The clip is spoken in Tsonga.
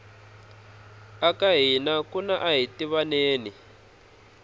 eka hina kuna ahitivaneni